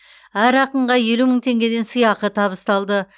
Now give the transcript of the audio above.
әр ақынға елу мың теңгеден сыйақы табысталды